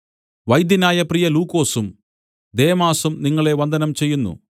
വൈദ്യനായ പ്രിയ ലൂക്കോസും ദേമാസും നിങ്ങളെ വന്ദനം ചെയ്യുന്നു